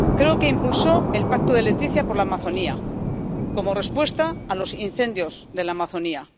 Creo que impulsó el Pacto de Leticia por la Amazonía, como respuesta a los incendios de la Amazonía.